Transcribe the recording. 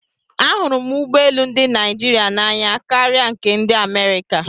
Ahụrụ m ụgbọ elu ndị Naịjirịa n'anya kara nke ndị Amerịka.